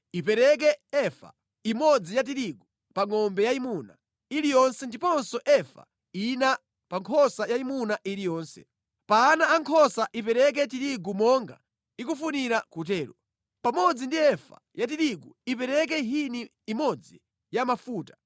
Ipereke efa imodzi ya tirigu pa ngʼombe yayimuna iliyonse ndiponso efa ina pa nkhosa yayimuna iliyonse. Pa ana ankhosa ipereke tirigu monga ikufunira kutero. Pamodzi ndi efa ya tirigu, ipereke hini imodzi ya mafuta.